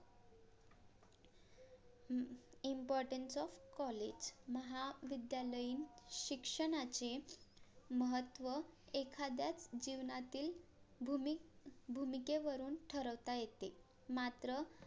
uh IMPORTANCE OF COLLAGE महाविद्यालयीन शिक्षणाचे महत्त्व एखाद्या जीवनातील भूमी भूमिकेवरुन ठरवता येते मात्र